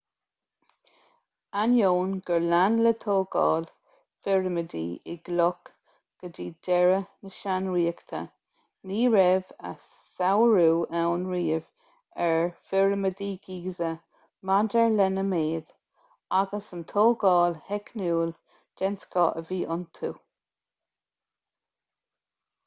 ainneoin gur lean le tógáil phirimidí i gcloch go dtí deireadh na sean-ríochta ní raibh a sárú ann riamh ar phirimidí giza maidir lena méid agus an tógáil theicniúil den scoth a bhí iontu